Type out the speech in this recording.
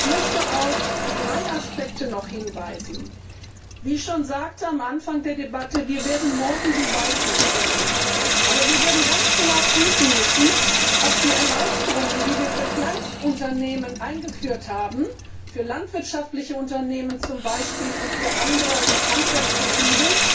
Ich möchte noch auf drei Aspekte hinweisen Wie ich schon am Anfang der Debatte sagte, wir werden morgen die Weichen stellen. Aber wir werden ganz genau prüfen müssen, ob die Erleichterungen, die wir für Kleinstunternehmen eingeführt haben, für landwirtschaftliche Unternehmen zum Beispiel und für Handwerksbetriebe,